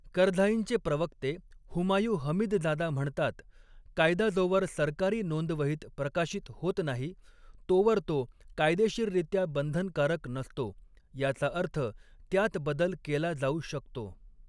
करझाईंचे प्रवक्ते Humayun Hamidzada म्हणतात, कायदा जोवर सरकारी नोंदवहीत प्रकाशित होत नाही, तोवर तो कायदेशीररित्या बंधनकारक नसतो, याचा अर्थ त्यात बदल केला जाऊ शकतो.